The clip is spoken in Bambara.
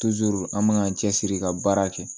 an man k'an cɛsiri ka baara kɛ